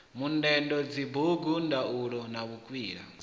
mundende dzibugu ndaula na vhukwila